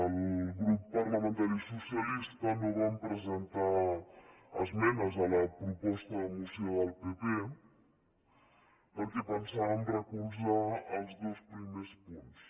el grup parlamentari socialista no vam presentar esmenes a la proposta de moció del pp perquè pensàvem recolzar els dos primers punts